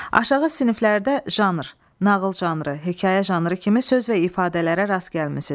Aşağı siniflərdə janr, nağıl janrı, hekayə janrı kimi söz və ifadələrə rast gəlmisiniz.